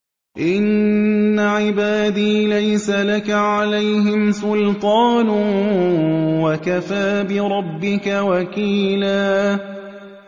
إِنَّ عِبَادِي لَيْسَ لَكَ عَلَيْهِمْ سُلْطَانٌ ۚ وَكَفَىٰ بِرَبِّكَ وَكِيلًا